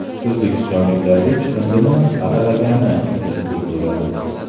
O‘zbekistonliklarga chiqindini saralagani uchun pul to‘lanadi .